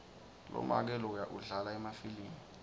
lomake loya udlala emafilimu